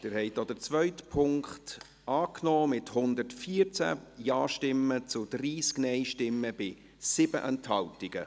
Sie haben auch den zweiten Punkt angenommen, mit 114 Ja- zu 30 Nein-Stimmen bei 7 Enthaltungen.